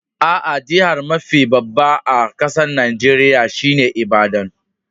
Aa, jihar mafi babba a kasan Nijeriya shine Ibadan.